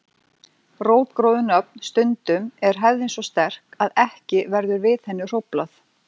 Rótgróin nöfn Stundum er hefðin svo sterk að ekki verður við henni hróflað.